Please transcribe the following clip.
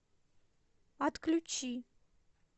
отключи